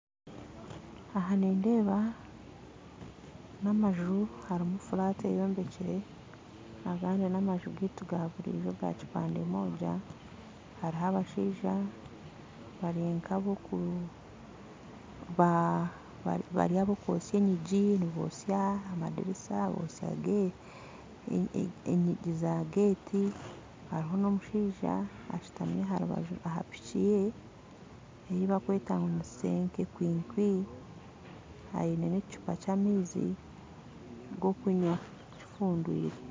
Aha nindeeba n'amaju harumu flat eyombekyire agandi n'amaju gaitu gaburijo ga kipande Moja haruho abashaija barinka aboku bari abakwotsya enyigi nibotsya amadirisa nibotsya enyigi za gate haruho n'omushaija ashutami aharubaju aha piki ye eibarukweta ngu ni senke kwinkwi aine n'ekicupa ky'amaizi g'okunywa kifundwire.